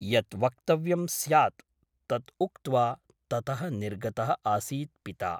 यत् वक्तव्यं स्यात् तत् उक्त्वा ततः निर्गतः आसीत् पिता ।